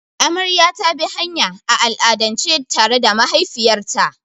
Amarya ta bi hanya, a al'adance tare da mahaifiyarta.